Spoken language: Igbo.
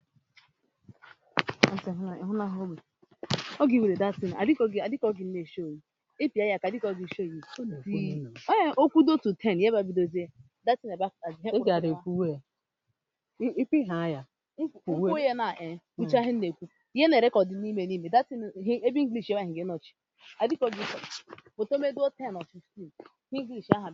Ịba ga-egbu gị ma ọ bụrụ na ị kpachaghị anya